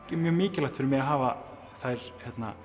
mjög mikilvægt fyrir mig að hafa þær